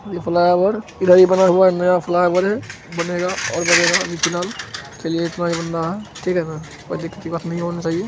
यह फ्लावर नया बना हुवा फ्लावर हे अ ओर बनेगा अभी फिलाल इतना ही बन रहा हे ठीक हे ना अक्तिवा नही होना चयिहे |